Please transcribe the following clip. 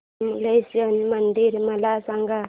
विमलेश्वर मंदिर मला सांग